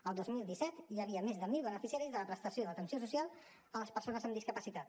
el dos mil disset hi havia més de mil beneficiaris de la prestació d’atenció social a persones amb discapacitat